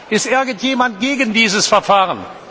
Ist irgendjemand gegen dieses Verfahren?